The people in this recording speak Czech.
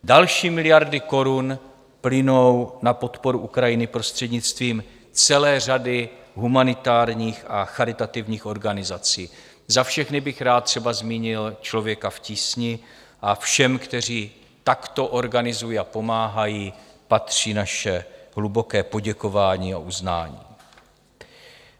Další miliardy korun plynou na podporu Ukrajiny prostřednictvím celé řady humanitárních a charitativních organizací - za všechny bych rád třeba zmínil Člověka v tísni - a všem, kteří takto organizují a pomáhají, patří naše hluboké poděkování a uznání.